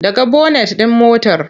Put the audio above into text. Ɗaga bonet ɗin motar!